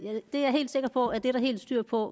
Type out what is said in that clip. er helt sikker på at det er der helt styr på